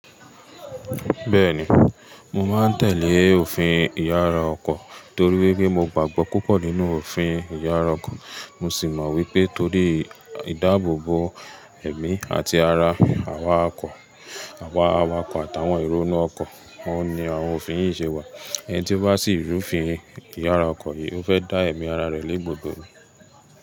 Bẹ́ẹ̀ni, mo máa ń tẹ̀lé òfin ìyára ọkọ̀ torí wípé mo gbàgbọ́ púpọ̀ nínú òfin ìyára ọkọ̀. Mo sì mọ wípé torí ìdáàbòbò emí àti ara àwọn awakọ̀ àtàwọn ero inú ọkọ̀, oun ni àwọn òfin yìí ṣe wà. Ẹni tí ó bá sì rú òfin ìyára ọkọ̀ yìí, ó fẹ́ dá ẹ̀mí ara rẹ̀ légbodo.